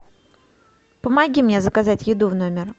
помоги мне заказать еду в номер